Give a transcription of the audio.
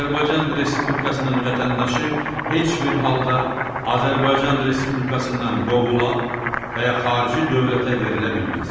Azərbaycan Respublikasının vətəndaşı heç bir halda Azərbaycan Respublikasından qovula və ya xarici dövlətə verilə bilməz.